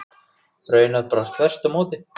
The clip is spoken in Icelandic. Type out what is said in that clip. Raunar bara þvert á móti.